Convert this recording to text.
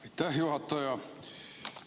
Aitäh, juhataja!